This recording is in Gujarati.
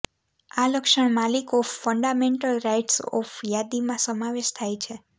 આ લક્ષણ માલિક ઓફ ફંડામેન્ટલ રાઇટસ ઓફ યાદીમાં સમાવેશ થાય છે